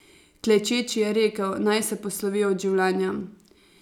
Klečeči je rekel, naj se poslovi od življenja.